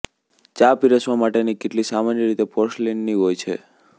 ચા પીરસવા માટેની કીટલી સામાન્ય રીતે પોર્સલીનની હોય છે